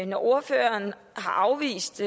når ordføreren har afvist